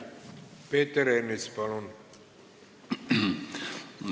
Peeter Ernits, palun!